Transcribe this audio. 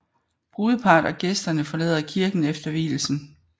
Brudeparret og gæsterne forlader kirken efter vielsen